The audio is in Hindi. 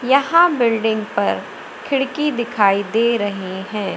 यहां बिल्डिंग पर खिड़की दिखाई दे रहीं हैं।